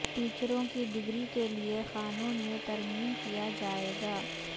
ٹیچروں کی ڈگری کیلئے قانون میں ترمیم کیا جائے گا